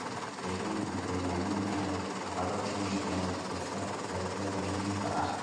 Deegaan aan degganayn ayaa caqabad ku noqda wax soo saarka dalagyada muhiimka ah.